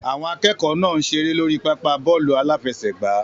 Àwọn akẹ́kọ̀ọ́ náà ń ṣeré lórí pápá bọ́ọ̀lù aláfẹsẹ̀gbá.